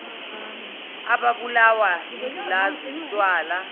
ababulawa yingculaza utshwala